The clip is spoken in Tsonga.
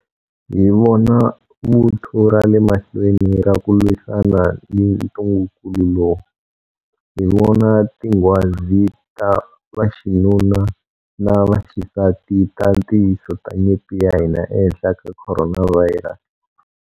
Hi vona vuthu ra le mahlweni ra ku lwisana na ntungukulu lowu. Hi vona tinghwazi ta vaxinuna na vaxisati ta ntiyiso ta nyimpi ya hina ehenhla ka khoronavhayirasi.